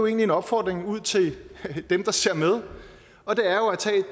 en opfordring ud til dem der ser med og det